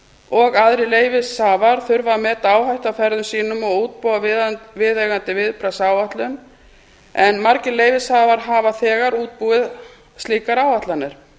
og aðrir leyfishafar þurfi að meta áhættu af ferðum sínum og útbúa viðeigandi viðbragðsáætlun en margir leyfishafar hafa þegar útbúið slíkar áætlanir